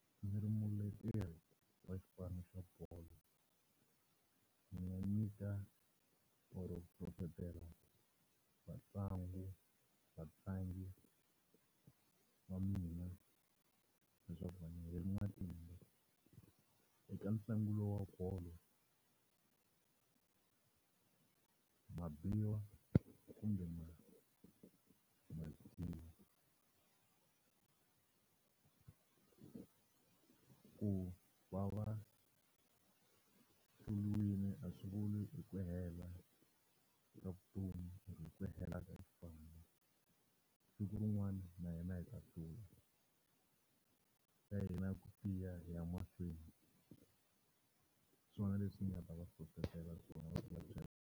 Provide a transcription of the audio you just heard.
Ndzi ri muleteri wa xipano xa bolo, ndzi nga nyika or-o ku hlohletela vatlangu vatlangi wa mina leswaku va nga heli matimba eka ntlangu lowu wa bolo. Ma biwa kumbe ma ma ku va va hluriwile a swi vuli ku hela ka vutomi or-o ku hela ka xipano. Siku rin'wana na hina hi ta hlula, xa hina i ku tiya hi ya mahlweni. Hiswona leswi ni nga va hlohletela swona loko .